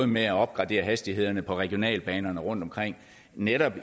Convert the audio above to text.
med at opgradere hastighederne på regionalbanerne rundtomkring netop